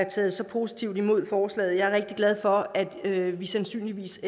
taget så positivt imod forslaget og jeg er rigtig glad for at at vi sandsynligvis